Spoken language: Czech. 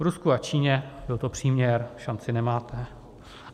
V Rusku a Číně - byl to příměr - šanci nemáte.